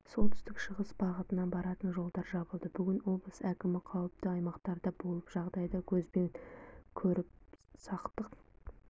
солтүстік-шығыс бағытына баратын жолдар жабылды бүгін облыс әкімі қауіпті аймақтарда болып жағдайды көзбен көріп сақтық